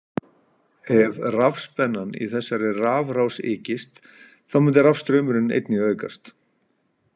Ef rafspennan í þessari rafrás ykist þá myndi rafstraumurinn einnig aukast.